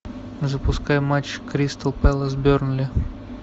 запускай матч кристал пэлас бернли